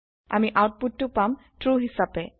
আমি আউতপুতটো পাম ট্ৰু হিছাপে